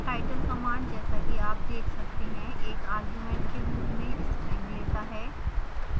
title command जैसा कि आप देख सकते हैं एक argument के रूप में string लेता है